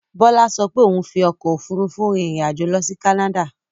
Bọ́lá ṣo pé òun fi ọkò òfurufú rin ìrìn àjò lọ sí Canada.